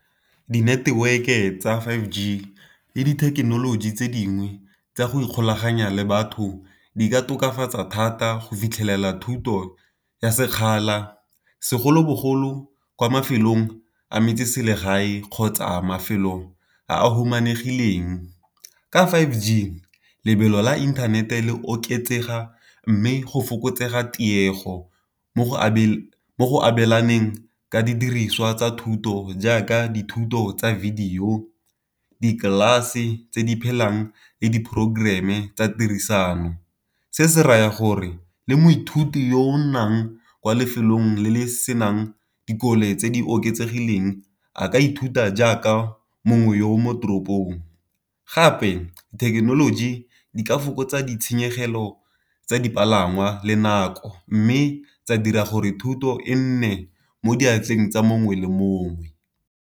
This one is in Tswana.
Di-network-e tsa five G le dithekenoloji tse dingwe tsa go ikgolaganya le batho di ka tokafatsa thata go fitlhelela thuto ya sekgala, segolobogolo kwa mafelong a metseselegae kgotsa mafelo a a humanegileng. Ka five G lebelo la inthanete le oketsega mme go fokotsega tiego mo go abelaneng ka didiriswa tsa thuto jaaka dithuto tsa video tse di phelang le di-programme tsa tirisano. Se se raya gore le moithuti yo o nnang kwa lefelong le le senang dikole tse di oketsegileng a ka ithuta jaaka mongwe yo o mo toropong. Gape thekenoloji di ka fokotsa ditshenyegelo tsa dipalangwa le nako, mme tsa dira gore thuto e nne mo diatleng tsa mongwe le mongwe.